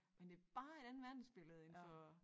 Men det bare et andet verdensbillede end for